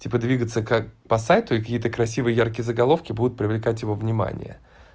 типа двигаться как по сайту и какие-то красивые яркие заголовки будут привлекать его внимание